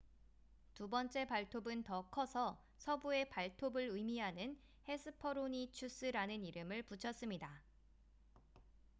"두 번째 발톱은 더 커서 "서부의 발톱""을 의미하는 hesperonychus라는 이름을 붙였습니다.